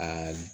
Aa